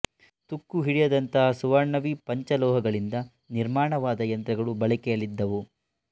ತುಕ್ಕು ಹಿಡಿಯದಂತಹ ಸುವರ್ಣಾವಿ ಪಂಚ ಲೋಹಗಳಿಂದ ನಿರ್ಮಾಣವಾದ ಯಂತ್ರಗಳು ಬಳಕೆಯಲ್ಲಿದ್ದವು